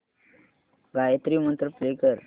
गायत्री मंत्र प्ले कर